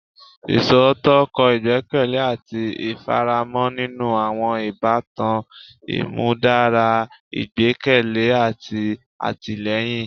Iṣootọ kọ igbẹkẹle ati ifaramo ninu awọn ibatan, imudara igbẹkẹle ati atilẹyin